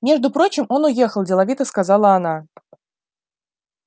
между прочим он уехал деловито сказала она